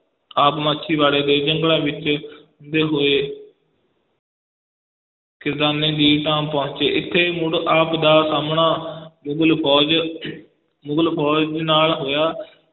ਆਪ ਮਾਛੀਵਾੜੇ ਦੇ ਜੰਗਲਾਂ ਵਿੱਚ ਹੁੰਦੇ ਹੋਏ ਖਿਦਰਾਨੇ ਦੀ ਢਾਬ ਪਹੁੰਚੇ, ਇੱਥੇ ਮੁੜ ਆਪ ਦਾ ਸਾਹਮਣਾ ਮੁਗਲ ਫੌਜ ਮੁਗਲ ਫ਼ੌਜ ਦੇ ਨਾਲ ਹੋਇਆ।